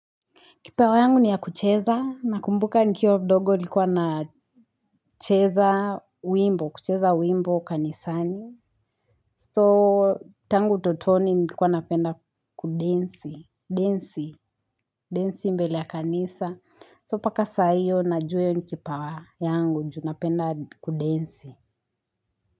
Kipawa yangu ni ya kucheza. Nakumbuka nikiwa mdogo nilikuwa na cheza wimbo, kucheza wimbo kanisani. So tangu utotoni nilikuwa napenda kudensi, densi, densi mbele ya kanisa. So mpaka saa hiyo najua hiyo ni kipawa yangu, juu napenda kudensi.